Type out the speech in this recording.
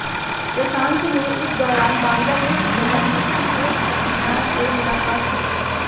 शशांक ने इस दौरान बांग्लादेश की प्रधानमंत्री शेख हसीना से मुलाकात की